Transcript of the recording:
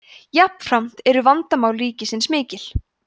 jafnframt eru vandamál ríkisins mikil